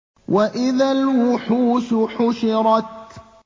وَإِذَا الْوُحُوشُ حُشِرَتْ